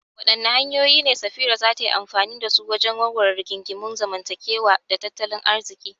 Wadanne hanyoyi ne Safira za ta yi amfani da su wajen warware rigingimun zamantakewa da tattalin arziki?